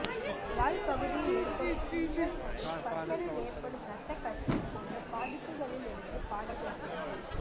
வாய்ப்பகுதியில் ஏற்பாடு புண்கள் மற்றும் பற்களில் ஏற்படும் இரத்த கசிவு போன்ற பாதிப்புகளிலிருந்து பாதுகாக்கிறது